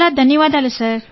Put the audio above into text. చాలా ధన్యవాదాలు సార్